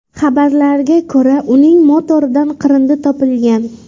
Xabarlarga ko‘ra uning motoridan qirindi topilgan.